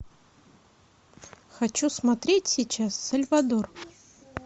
хочу смотреть сейчас сальвадор